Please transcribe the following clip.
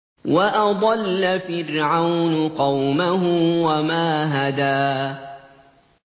وَأَضَلَّ فِرْعَوْنُ قَوْمَهُ وَمَا هَدَىٰ